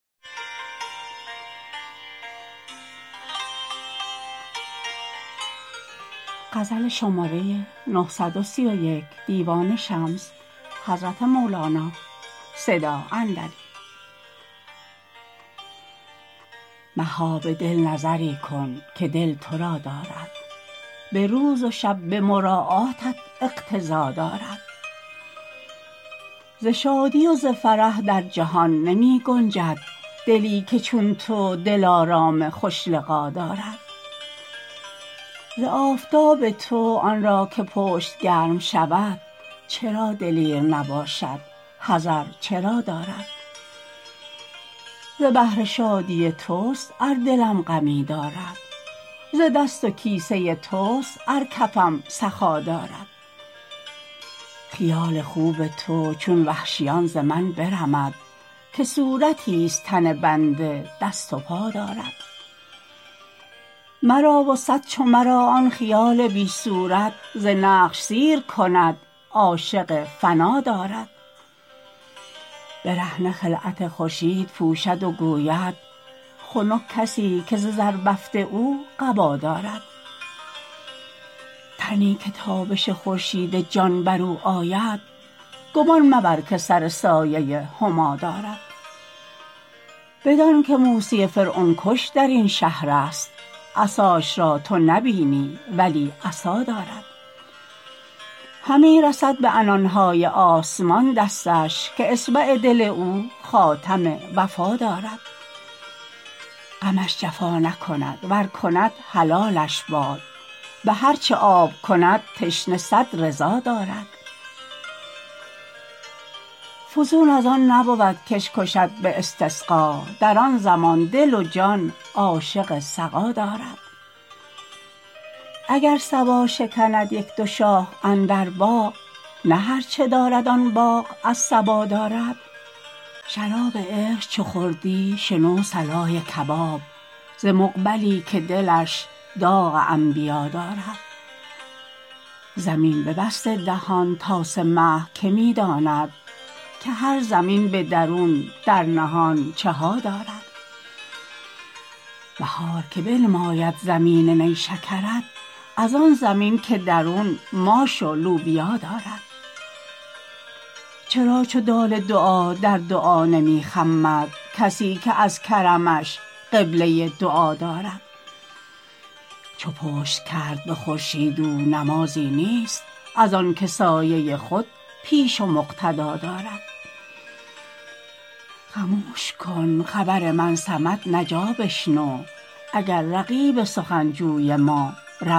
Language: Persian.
مها به دل نظری کن که دل تو را دارد به روز و شب به مراعاتت اقتضا دارد ز شادی و ز فرح در جهان نمی گنجد دلی که چون تو دلارام خوش لقا دارد ز آفتاب تو آن را که پشت گرم شود چرا دلیر نباشد حذر چرا دارد ز بهر شادی توست ار دلم غمی دارد ز دست و کیسه توست ار کفم سخا دارد خیال خوب تو چون وحشیان ز من برمد که صورتیست تن بنده دست و پا دارد مرا و صد چو مرا آن خیال بی صورت ز نقش سیر کند عاشق فنا دارد برهنه خلعت خورشید پوشد و گوید خنک کسی که ز زربفت او قبا دارد تنی که تابش خورشید جان بر او آید گمان مبر که سر سایه هما دارد بدانک موسی فرعون کش در این شهرست عصاش را تو نبینی ولی عصا دارد همی رسد به عنان های آسمان دستش که اصبع دل او خاتم وفا دارد غمش جفا نکند ور کند حلالش باد به هر چه آب کند تشنه صد رضا دارد فزون از آن نبود کش کشد به استسقا در آن زمان دل و جان عاشق سقا دارد اگر صبا شکند یک دو شاخ اندر باغ نه هر چه دارد آن باغ از صبا دارد شراب عشق چو خوردی شنو صلای کباب ز مقبلی که دلش داغ انبیا دارد زمین ببسته دهان تاسه مه که می داند که هر زمین به درون در نهان چه ها دارد بهار که بنماید زمین نیشکرت از آن زمین به درون ماش و لوبیا دارد چرا چو دال دعا در دعا نمی خمد کسی که از کرمش قبله دعا دارد چو پشت کرد به خورشید او نمازی نیست از آنک سایه خود پیش و مقتدا دارد خموش کن خبر من صمت نجا بشنو اگر رقیب سخن جوی ما روا دارد